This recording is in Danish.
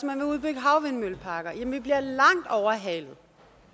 man vil udbygge havvindmølleparker jamen vi bliver langt overhalet